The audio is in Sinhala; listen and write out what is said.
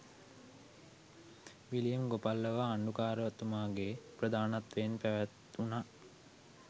විලියම් ගොපල්ලව අග්‍රාණ්ඩුකාරතුමාගේ ප්‍රධානත්වයෙන් පැවැත් වුණා.